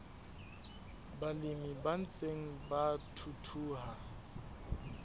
balemi ba ntseng ba thuthuha